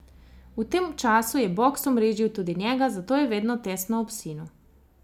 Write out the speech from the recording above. V tem času je boks omrežil tudi njega, zato je vedno tesno ob sinu.